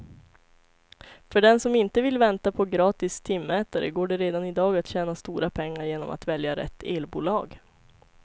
För den som inte vill vänta på gratis timmätare går det redan i dag att tjäna stora pengar genom att välja rätt elbolag.